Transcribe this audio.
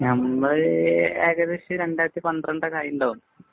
നമ്മള് ഏകദേശം രണ്ടായിരത്തി പന്ത്രണ്ട് ഒക്കെ കഴിഞ്ഞിട്ടുണ്ടാവും.